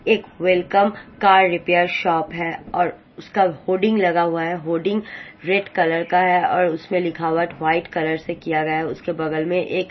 एक वेलकम का repair shop है और उसका होडिंग लगा हुआ है होडिंग रेड कलर का है और उसमें लिखावट व्हाइट कलर से किया गया उसके बगल में एक--